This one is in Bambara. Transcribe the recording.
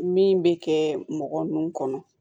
Min bɛ kɛ mɔgɔ nunnu kɔnɔ